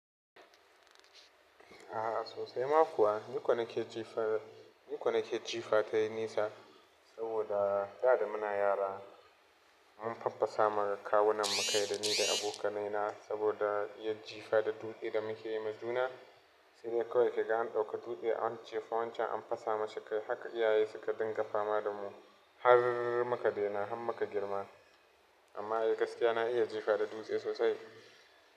A'a sosai ma kuwa, ni ko nake jifa, ni ko nake jifa tayi nisa saboda da da muna yara mun faffasa ma kawunan mu kai da ni da abokanai na saboda iya jifa da dutse da muke yi majuna sai dai kawai idan an ɗauka dutse a wancan jifa wancan an fasa mashi kai haka iyaye suka dinga fama da mu har muka daina har muka girma amma ai gaskiya na iya jifa da dutse sosai.